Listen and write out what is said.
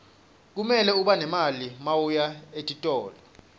kumele ube nemali mawuya etitolo